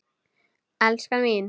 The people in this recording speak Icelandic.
Elskan mín!